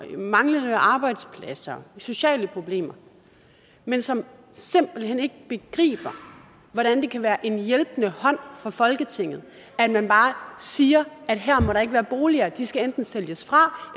manglende arbejdspladser sociale problemer men som simpelt hen ikke begriber hvordan det kan være en hjælpende hånd fra folketinget at man bare siger at her må der ikke være boliger at de enten skal sælges fra